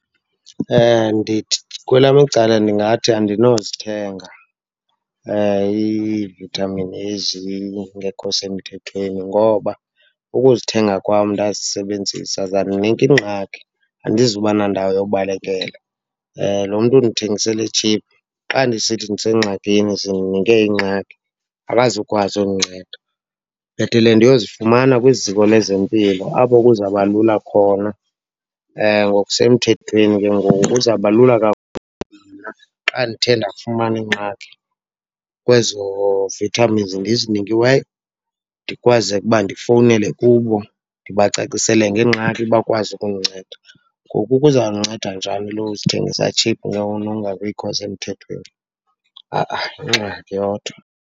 Ndithi kwelam icala ndingathi andinozithenga iivithamini ezingekho semthethweni ngoba ukuzithenga kwam ndazisebenzisa, zandinika ingxaki, andizuba nandawo yobalekela. Loo mntu undithengisele tshiphu, xa ndisithi ndisengxakini, zindinike ingxaki, akazokwazi undinceda. Bhetele ndiyozifumana kwiziko lezempilo apho kuzaba lula khona, ngokusemthethweni ke ngoku. Kuzaba lula kakhulu xa ndithe ndafumana ingxaki kwezo vitamins ndizinikiweyo, ndikwazeke uba ndifowunele kubo ndibacacisele ngengxaki bakwazi ukundinceda. Ngoku ke uzawundinceda njani lo uzithengisa tshiphu nokungabikho semthethweni? , yingxaki yodwa.